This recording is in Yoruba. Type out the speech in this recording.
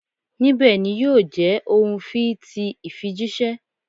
Nibẹ ni yio je ohun fii ti ifijiṣẹ